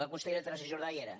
la consellera teresa jordà hi era